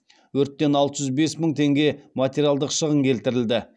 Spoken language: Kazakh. өрттен алты жүз бес мың теңге материалдық шығын келтірілді